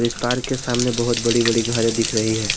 इस पार्क के सामने बहोत बड़ी बड़ी घर दिख रही है।